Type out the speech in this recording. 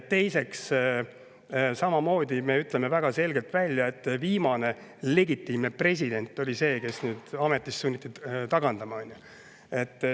Teiseks, samamoodi me ütleme väga selgelt välja, et viimane legitiimne president on see, kes on nüüd sunnitud ametist, on ju.